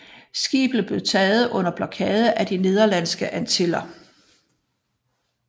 Skibet blev taget under blokade i de Nederlandske Antiller